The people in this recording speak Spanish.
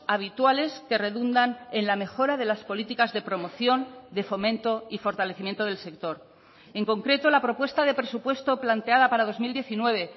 habituales que redundan en la mejora de las políticas de promoción de fomento y fortalecimiento del sector en concreto la propuesta de presupuesto planteada para dos mil diecinueve